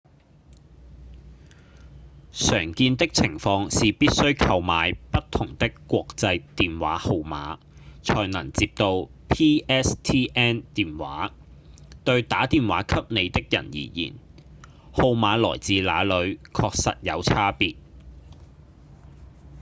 常見的情況是必須購買不同的國際電話號碼才能接到 pstn 電話對打電話給你的人而言號碼來自哪裡確實有差別